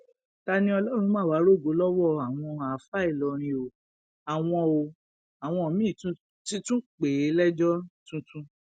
taniọlọrun má wàá rògo lọwọ àwọn àáfàá ìlọrin o àwọn o àwọn míín ti tún pè é lẹjọ tuntun